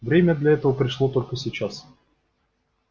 время для этого пришло только сейчас